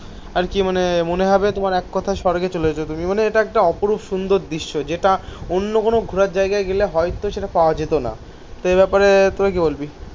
আর কি মানে মনে হবে তোমার এককথায় স্বর্গে চলে যেও তুমি. মানে এটা একটা অপরূপ সুন্দর দৃশ্য. যেটা অন্য কোন ঘোরার জায়গায় গেলে হয়তো সেটা পাওয়া যেত না. তো এই ব্যাপারে তোরা কি বলবি?